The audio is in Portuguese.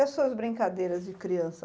E as suas brincadeiras de criança?